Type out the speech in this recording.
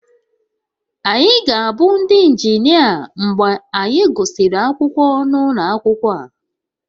Anyị ga-abụ ndị injinia mgbe anyị gụsịrị akwụkwọ n'ụlọ akwụkwọ a